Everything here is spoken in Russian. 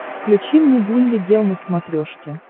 включи мне гулли гел на смотрешке